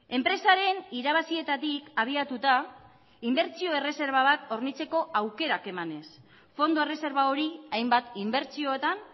enpresaren irabazietatik abiatuta inbertsio erreserba bat hornitzeko aukerak emanez fondo erreserba hori hainbat inbertsioetan